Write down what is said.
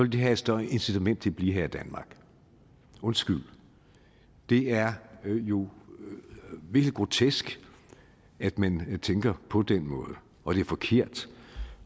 de have et større incitament til at blive her i danmark undskyld det er jo virkelig grotesk at man tænker på den måde og det er forkert